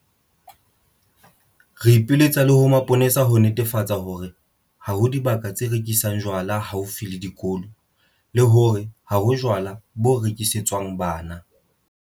Re ipiletsa le ho mapolesa ho netefatsa hore ha ho dibaka tse rekisang jwala haufi le dikolo le hore ha ho jwala bo rekisetswang bana.